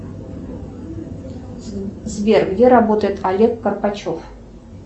сбер где работает олег карпачев